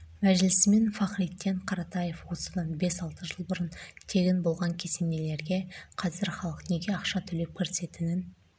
мәжілісмен фахриддин қаратаев осыдан бес-алты жыл бұрын тегін болған кесенелерге қазір халық неге ақша төлеп кірісетінін